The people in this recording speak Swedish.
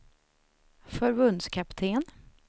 förbundskapten